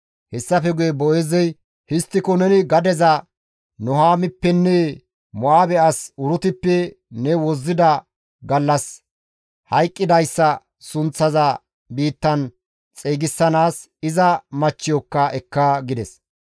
Hessafe guye Boo7eezey, «Histtiko neni gadeza Nuhaamippenne Mo7aabe as Urutippe ne wozzida gallas hayqqidayssa sunththiza biittan xeygisanaas iza machchiyokka ekka» gides.